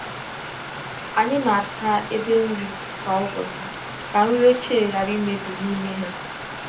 Anyị na-asa ebe nri kwa ụbọchị ka nri ochie ghara imebi n’ime ha.